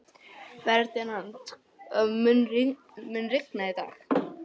Ferdinand, mun rigna í dag?